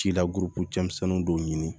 Ci lago cɛmisɛnnin dɔw ɲini